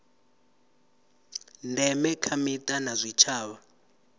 ndeme kha mita na zwitshavha